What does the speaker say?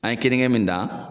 An ye keninge min dan